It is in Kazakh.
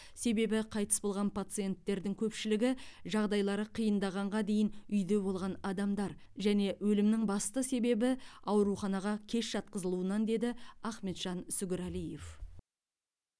себебі қайтыс болған пациенттердің көпшілігі жағдайлары қиындағанға дейін үйде болған адамдар және өлімнің басты себебі ауруханаға кеш жатқызылуынан деді ахметжан сүгірәлиев